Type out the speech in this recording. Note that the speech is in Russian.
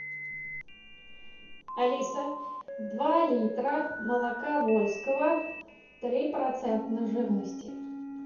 алиса два литра молока вольского три процента жирности